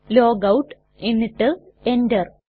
logout എന്നിട്ട് Enter